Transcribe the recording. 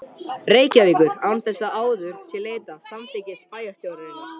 Reykjavíkur, án þess að áður sé leitað samþykkis bæjarstjórnarinnar.